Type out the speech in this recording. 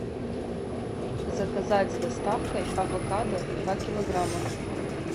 заказать с доставкой авокадо два килограмма